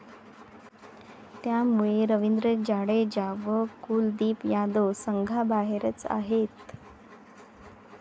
त्यामुळे रवींद्र जाडेजा व कुलदीप यादव संघाबाहेरच आहेत.